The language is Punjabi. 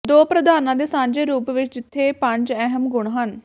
ਦੋ ਪ੍ਰਧਾਨਾਂ ਦੇ ਸਾਂਝੇ ਰੂਪ ਵਿਚ ਇੱਥੇ ਪੰਜ ਅਹਿਮ ਗੁਣ ਹਨ